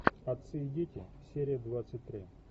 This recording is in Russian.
отцы и дети серия двадцать три